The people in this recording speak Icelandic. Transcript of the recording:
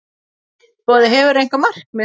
Boði: Hefurðu einhver markmið?